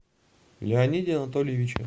леониде анатольевиче